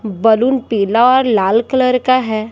Balloon पीला और लाल कलर का है।